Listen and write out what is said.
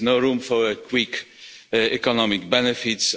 There is no room for quick economic benefits.